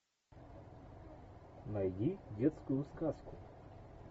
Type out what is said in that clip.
найди детскую сказку